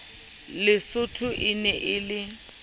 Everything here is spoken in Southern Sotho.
lesotho e ne e le